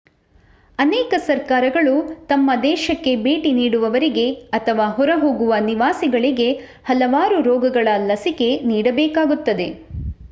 ಅನೇಕ ಸರ್ಕಾರಗಳು ತಮ್ಮ ದೇಶಕ್ಕೆ ಭೇಟಿ ನೀಡುವವರಿಗೆ ಅಥವಾ ಹೊರಹೋಗುವ ನಿವಾಸಿಗಳಿಗೆ ಹಲವಾರು ರೋಗಗಳ ಲಸಿಕೆ ನೀಡಬೇಕಾಗುತ್ತದೆ